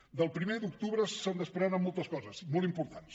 del primer d’octubre se’n desprenen moltes coses molt importants